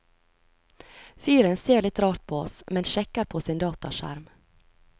Fyren ser litt rart på oss, men sjekker på sin dataskjerm.